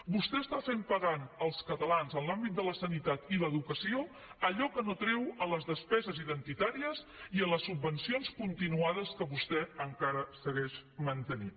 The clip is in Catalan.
vostè està fent pagar als catalans en l’àmbit de la sanitat i l’educació allò que no treu a les despeses identitàries i a les subvencions continuades que vostè encara segueix mantenint